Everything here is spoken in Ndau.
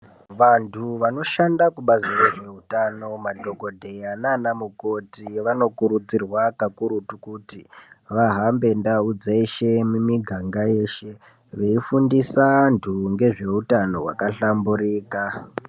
Vantu vanoshanda kubazi rezveutano madhogodheya nana mukoti vanokurudzirwa kakurutu kuti vahambe ndau dzeshe mimiganga yeshe, veifundisa antu ngezve utano hwakahlamburika.